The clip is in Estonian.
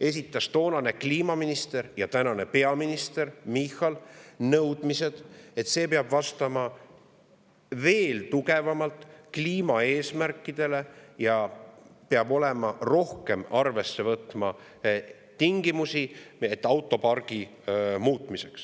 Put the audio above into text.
esitas toonane kliimaminister ja tänane peaminister Michal nõudmised, et see peab vastama veel tugevamalt kliimaeesmärkidele ja peab rohkem arvesse võtma tingimusi autopargi muutmiseks.